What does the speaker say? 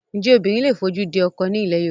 Ǹjẹ́ obìnrin lè fojú di ọkọ ní ilẹ̀ Yorùbá?